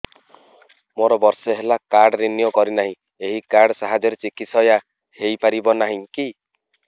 ମୋର ବର୍ଷେ ହେଲା କାର୍ଡ ରିନିଓ କରିନାହିଁ ଏହି କାର୍ଡ ସାହାଯ୍ୟରେ ଚିକିସୟା ହୈ ପାରିବନାହିଁ କି